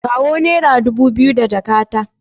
Kawo naira dubu biyu daga jakata.